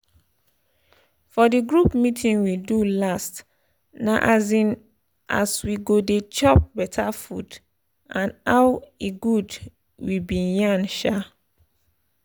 for the group meeting we do last na um as we go dey chop better food and ow e good we been yarn um